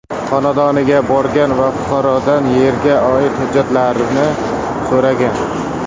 xonadoniga borgan va fuqarodan yerga oid hujjatlarini so‘ragan.